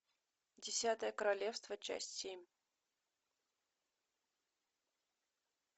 десятое королевство часть семь